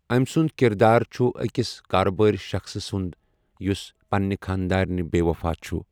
أمہِ سُنٛد کِردار چُھ اَکس کارٕبٲرِ شخصہٕ سُنٛد یُس پنٛنہِ خانٛدارِنہٕ بےٚ وَفا چُھ۔